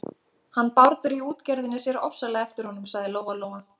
Hann Bárður í útgerðinni sér ofsalega eftir honum, sagði Lóa-Lóa.